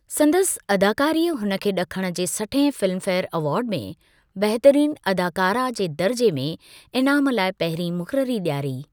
संदसि अदाकारीअ हुन खे ॾखण जे सठिहें फिल्मफेयर अवार्ड में बहितरीन अदाकारा जे दर्जे में इनामु लाइ पहिरीं मुक़ररी ॾियारी।